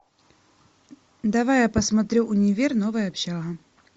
давай я посмотрю универ новая общага